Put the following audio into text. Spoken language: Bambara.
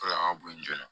O de la an ka bo joona